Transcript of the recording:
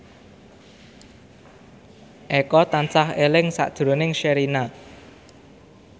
Eko tansah eling sakjroning Sherina